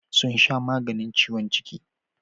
Sun sha maganin ciwon ciki.